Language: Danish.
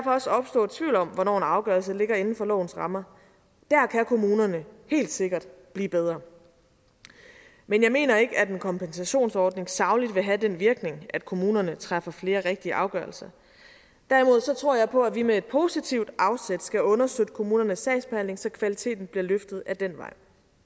også opstå tvivl om hvornår en afgørelse ligger inden for lovens rammer dér kan kommunerne helt sikkert blive bedre men jeg mener ikke at en kompensationsordning sagligt vil have den virkning at kommunerne træffer flere rigtige afgørelser derimod tror jeg på at vi med et positivt afsæt skal understøtte kommunernes sagsbehandling så kvaliteten bliver løftet ad den vej